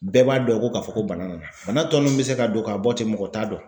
Bɛɛ b'a dɔn ko ka fɔ ko bana nana bana tɔ min bɛ se ka don ka bɔ ten mɔgɔ t'a dɔn